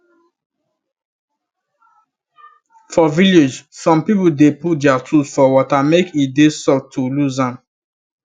for village some people dey put their tools for water make e dey soft to lose am